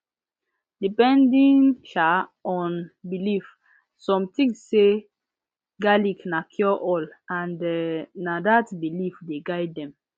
depending um on belief some think say garlic na cureall and um na dat belief dey guide dem